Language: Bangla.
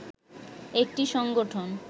একটি সংগঠন